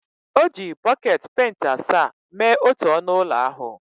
O ji bọket penti asaa mee otu ọnụ ụlọ ahụ